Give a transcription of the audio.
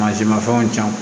Mansinmafɛnw ta